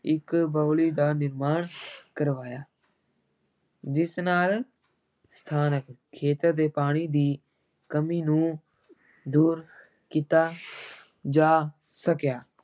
ਇੱਕ ਬਾਉਲੀ ਦਾ ਨਿਰਮਾਣ ਕਰਵਾਇਆ ਜਿਸ ਨਾਲ ਸਥਾਨਕ ਖੇਤਰ ਦੇ ਪਾਣੀ ਦੀ ਕਮੀ ਨੂੰ ਦੂਰ ਕੀਤਾ ਜਾ ਸਕਿਆ।